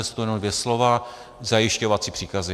Jsou to jenom dvě slova - zajišťovací příkazy.